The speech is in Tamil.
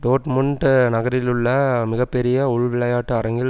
டோட்மூண்ட் நகரிலுள்ள மிக பெரிய உள் விளையாட்டு அரங்கில்